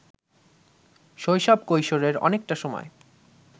শৈশব-কৈশোরের অনেকটা সময়